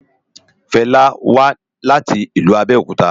Fela wá láti ilú Abeokuta